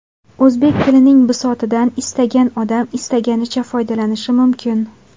O‘zbek tilining bisotidan istagan odam istaganicha foydalanishi mumkin.